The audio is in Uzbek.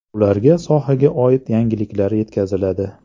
Ularga sohaga oid yangiliklar yetkaziladi.